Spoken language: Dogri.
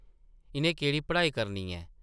इʼनें केह्ड़ी पढ़ाई करनी ऐ ।